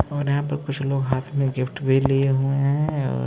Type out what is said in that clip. और यहां पर कुछ लोग हाथ में गिफ्ट भी लिए हुए हैं। और-